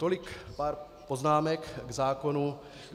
Tolik pár poznámek k zákonu.